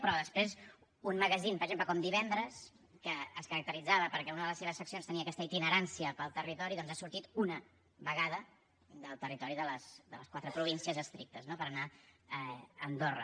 però després un magazín per exemple com divendres que es caracteritzava perquè una de les seves seccions tenia aquesta itinerància pel territori doncs ha sortit una vegada del territori de les quatre províncies estrictes no per anar a andorra